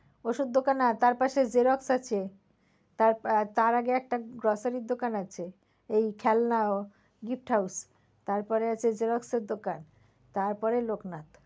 ওষুধ দোকান না তার পাশে জেরক্স দোকান আছে তার, তার আগে একটা grocery দোকান আছে এই খেলনা gift house তারপরে আছে জেরক্সের দোকান তারপরে লোকনাথ।